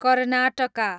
Karnataka